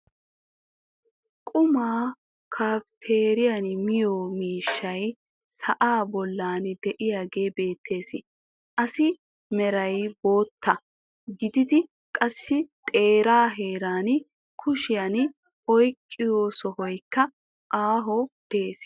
qumaa kafteeriyan miyo miishshay sa'aa bolan diyaagee beetees assi meray bootta gididi qassi xeeraa heeran kushiyan ouqqiyo sohoykka ayoo de'ees.